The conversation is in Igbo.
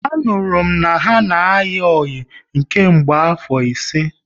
Anuru m na ha na ayi oyi nke mgbe afo ise